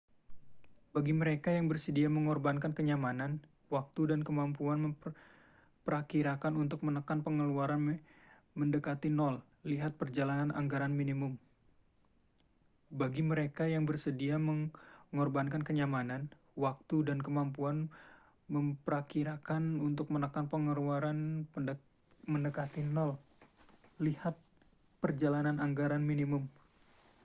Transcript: bagi mereka yang bersedia mengorbankan kenyamanan waktu dan kemampuan memprakirakan untuk menekan pengeluaran mendekati nol lihat perjalanan anggaran minimum